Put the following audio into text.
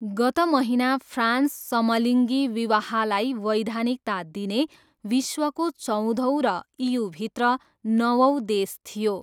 गत महिना, फ्रान्स समलिङ्गी विवाहलाई वैधानिकता दिने विश्वको चौधौँ र इयूभित्र नवौँ देश थियो।